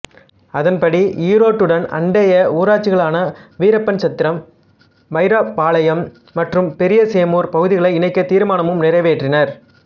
அதன்படி ஈரோட்டுடன் அண்டைய ஊராட்சிகளான வீரப்பன்சத்திரம் வைராபாளையம் மற்றும் பெரியசேமூர் பகுதளை இணைக்க தீர்மானமும் நிறைவேற்றினார்